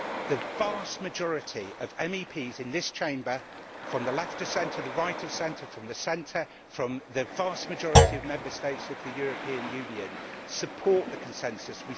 the vast majority of MEPs in this Chamber from the left of centre, the right of centre, the centre from the vast majority of Member States of the European Union support the consensus.